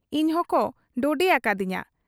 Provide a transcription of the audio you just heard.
ᱤᱧᱦᱚᱠᱚ ᱰᱚᱰᱮᱭᱟᱠᱟᱫ ᱤᱧᱟ ᱾